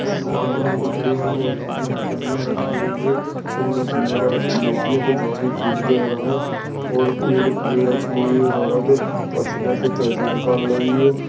सामने एक ट्रे में बहोत मछलियां रखी हुई हैं कुछ मछलियों का रस कुछो का खून बह रहा है और एक ट्रे रखी हुई है एक औरत पर्स में से पैसे निकाल रही है ।